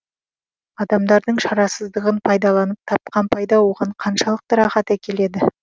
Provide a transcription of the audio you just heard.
адамдардың шарасыздығын пайдаланып тапқан пайда оған қаншалықты рахат әкеледі